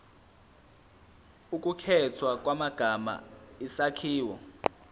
ukukhethwa kwamagama isakhiwo